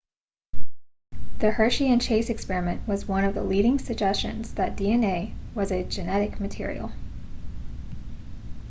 the hershey and chase experiment was one of the leading suggestions that dna was a genetic material